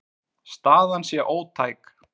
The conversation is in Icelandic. Staðan sé ótæk.